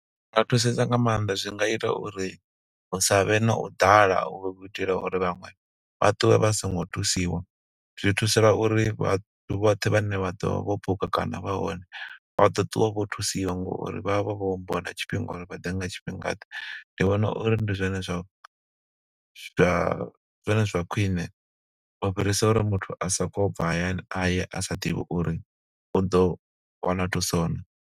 Nga thusesa nga maanḓa, zwi nga ita uri hu sa vhe na u ḓala, u itela uri vhaṅwe vha ṱuwe vha songo thusiwa. Zwi thusela uri vhathu vhoṱhe vha ne vha ḓovha vho buka kana vha hone, vha ḓo ṱuwa vho thusiwa ngo uri vha vha vho ambiwa na tshifhinga uri vha ḓe nga tshifhinga ḓe. Ndi vhona uri ndi zwone zwa, zwa ndi zwone zwa khwiṋe u fhirisa uri muthu a soko bva hayani, aye a sa ḓivhi uri u ḓo wana thuso naa.